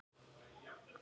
Sú mynd lifir með mér.